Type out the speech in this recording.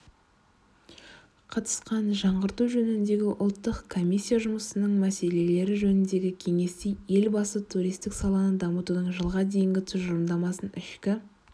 қатысқанжаңғырту жөніндегі ұлттық комиссия жұмысының мәселелері жөніндегі кеңесте елбасытуристік саланы дамытудың жылға дейінгі тұжырымдамасын ішкі